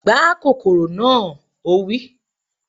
Gbá kòkòrò na! Ó wí